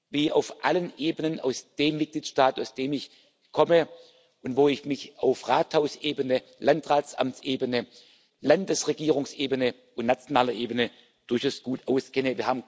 wie auf allen Ebenen in dem Mitgliedstaat, aus dem ich komme und wo ich mich auf Rathausebene, Landratsamtsebene, Landesregierungsebene und nationaler Ebene durchaus gut auskenne.